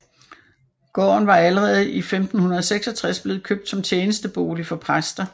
Gården var allerede år 1566 blevet købt som tjenestebolig for præster